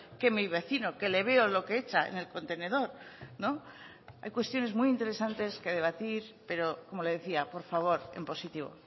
que mi vecino que le veo lo que echa en el contenedor hay cuestiones muy interesantes que debatir pero como le decía por favor en positivo